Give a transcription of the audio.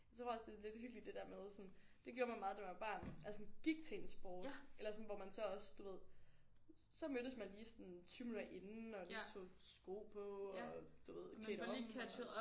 Jeg tror også det er lidt hyggeligt det der med sådan det gjorde man meget da man var barn altså sådan gik til en sport eller sådan hvor man så også du ved så mødtes man lige sådan 20 minutter inden og lige tog sko på og du ved klædte om og